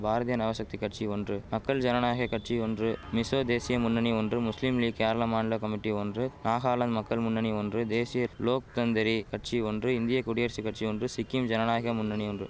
பாரதிய நவசக்தி கட்சி ஒன்று மக்கள் ஜனநாயக கட்சி ஒன்று மிசோ தேசிய முன்னணி ஒன்று முஸ்லிம் லீக் கேரள மாநில கமிட்டி ஒன்று நாகாலாந்து மக்கள் முன்னணி ஒன்று தேசிய லோக் தந்திரி கட்சி ஒன்று இந்திய குடியரசு கட்சி ஒன்று சிக்கிம் ஜனநாயக முன்னணி ஒன்று